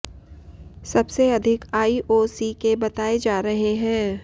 सबसे अधिक आईओसी के बताए जा रहे हैं